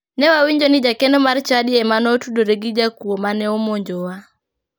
Ne wawinjo ni jakeno mar chadi ema ne otudore gi jakuo mane omonjowa.